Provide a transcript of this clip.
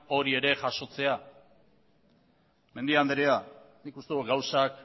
hori ere jasotzea mendia andrea nik uste dut gauzak